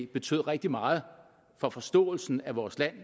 betød rigtig meget for forståelsen af vores land